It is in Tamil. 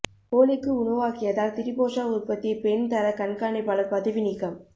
கோழிக்கு உணவாக்கியதால் திரிபோஷா உற்பத்தி பெண் தரக் கண்காணிப்பாளர் பதவி நீக்கம்